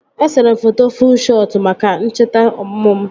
Esere m foto fuu shọt maka ncheta ọmụmụ m